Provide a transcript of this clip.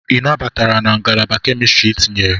Ị nabatara na Ngalaba Kemistri etinyere?